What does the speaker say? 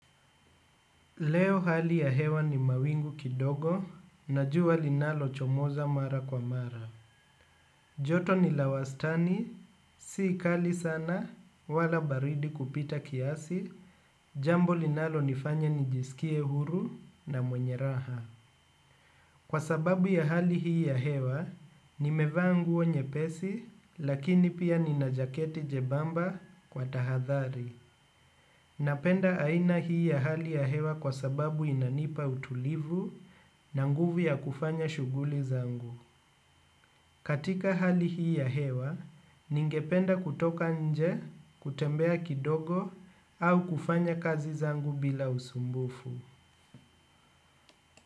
Leo hali ya hewa ni mawingu kidogo, na jua linalochomoza mara kwa mara. Joto ni la wastani si kali sana wala baridi kupita kiasi jambo linalonifanya nijisikie huru na mwenye raha. Kwa sababu ya hali hii ya hewa, nimevaa nguo nyepesi, lakini pia nina jaketi jebamba kwa tahadhari. Napenda aina hii ya hali ya hewa kwa sababu inanipa utulivu na nguvu ya kufanya shughuli zangu. Katika hali hii ya hewa, ningependa kutoka nje, kutembea kidogo au kufanya kazi zangu bila usumbufu.